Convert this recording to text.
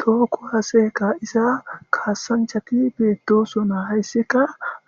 Toho kuwase ka'za kasanchati betosona haysika